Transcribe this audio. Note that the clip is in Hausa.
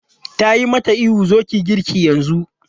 Ta yi mata ihu 'zo ki yi girki yanzu!'